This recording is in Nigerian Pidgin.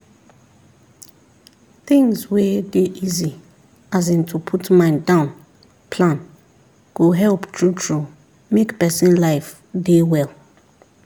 things wey dey easy as in to put mind down plan go help true true make person life dey well